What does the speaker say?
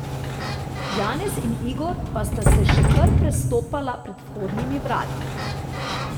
Janez in Igor pa sta se še kar prestopala pred vhodnimi vrati.